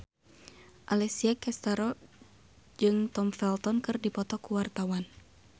Alessia Cestaro jeung Tom Felton keur dipoto ku wartawan